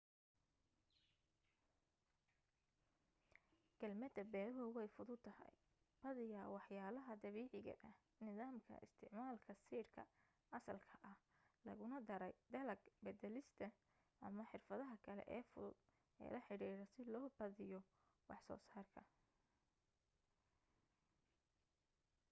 kaalmada beerahu way fududahay badiyaa waxyaalaha dabiiciga ah nidaamka isticmaalka siidhka asalka ah laguna daray dalag badalista ama xirfadaha kale ee fudud ee la xidhiidha si loo badiyo waxsoo saarka